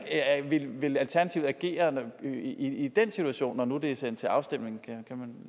vil alternativet agere i den situation når nu det er sendt til afstemning kan man